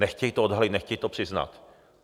Nechtějí to odhalit, nechtějí to přiznat.